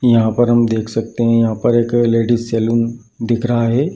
यहाँ पर हम देख सकते हें यहाँ पर एक लेडीज सैलून दिख रहा है।